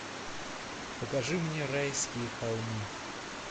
покажи мне райские холмы